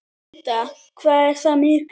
Linda: Hvað er það mikið?